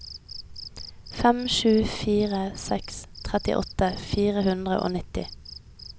fem sju fire seks trettiåtte fire hundre og nitti